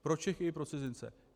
Pro Čechy i pro cizince.